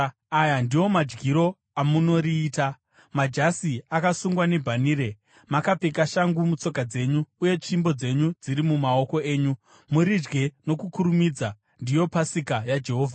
Aya ndiwo madyiro amunoriita: Majasi akasungwa nebhanhire, makapfeka shangu mutsoka dzenyu, uye tsvimbo dzenyu dziri mumaoko enyu. Muridye nokukurumidza; ndiyo Pasika yaJehovha.